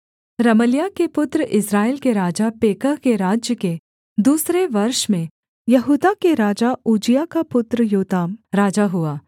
रमल्याह के पुत्र इस्राएल के राजा पेकह के राज्य के दूसरे वर्ष में यहूदा के राजा उज्जियाह का पुत्र योताम राजा हुआ